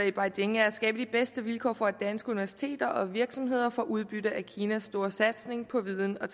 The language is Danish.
i beijing er at skabe de bedste vilkår for at danske universiteter og virksomheder får udbytte af kinas store satsning på viden og